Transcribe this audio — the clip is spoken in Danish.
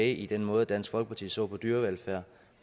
i den måde dansk folkeparti ser på dyrevelfærd